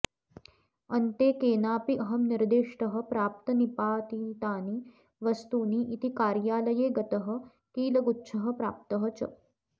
अन्ते केनापि अहं निर्दिष्टः प्राप्तनिपातितानि वस्तूनि इति कार्यालये गतः कीलगुच्छः प्राप्तः च